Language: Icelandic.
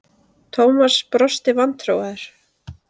Thomas brosti vantrúaður.